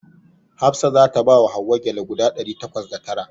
Hafsat za ta bawa Hauwa gyale guda ɗari takwas da tara.